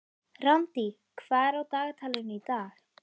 Randý, hvað er á dagatalinu í dag?